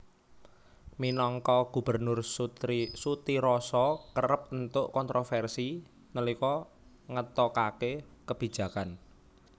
Minangka gubernur Sutiroso kerep entuk kontroversi nalika ngetokake kebijakan